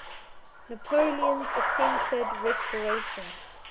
napoleon's attempted restoration